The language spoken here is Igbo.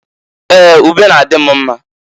Ee! Ube n'adị m mma.